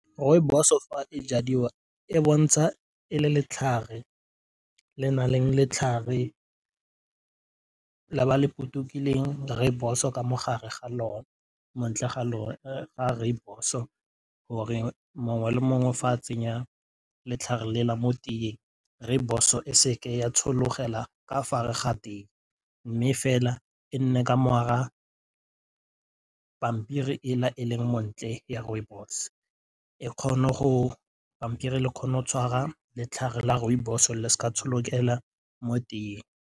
Rooibos o fa e jadiwa e bontsha e le letlhare le nang le letlhare la ba le potokileng rooibos-o ka mo gare ga lone montle ga ga rooibos-o gore mongwe le mongwe fa a tsenya letlhare lela mo teng rooibos-o e se ke ya tshologela ga tee mme fela e nne ka pampiri e leng montle ya rooibos e kgone go pampiri ele kgona go tshwara letlhare la rooibos le s'ka mo teng.